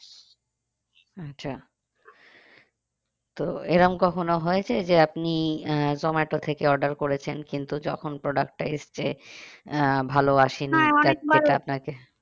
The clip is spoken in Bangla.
আচ্ছা তো এরকম কখনো হয়েছে যে আপনি আহ জোমাটো থেকে order করেছেন কিন্তু যখন product টা এসছে আহ ভালো আসেনি আপনাকে